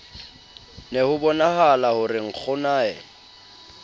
ne hobonahala ho re nkgonae